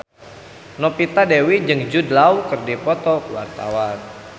Novita Dewi jeung Jude Law keur dipoto ku wartawan